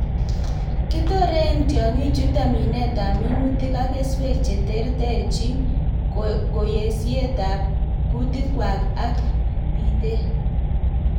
Kitoren tiong'ichuton minetab minutik ak keswek cheterterchin, koyesiyetab kutikwak ak bitet .